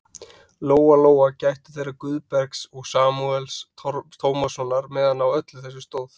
Lóa-Lóa gættu þeirra Guðbergs og Samúels Tómassonar meðan á öllu þessu stóð.